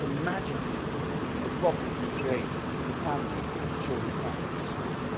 Just imagine the problems you create for families if their children cannot go to school.